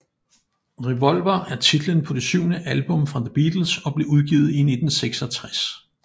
Revolver er titlen på det syvende album fra The Beatles og blev udgivet i 1966